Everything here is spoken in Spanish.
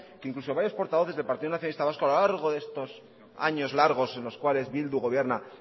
que incluso varios portavoces del partido nacionalista vasco a lo largo de estos años largos en los cuales bildu gobierna